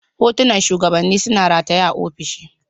Hotunan shugabanni suna rataye a ofishin.